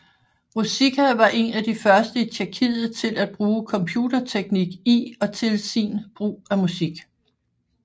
Ruzicka var en af de første i Tjekkiet til at bruge computerteknik i og til sin brug af musik